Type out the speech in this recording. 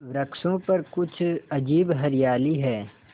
वृक्षों पर कुछ अजीब हरियाली है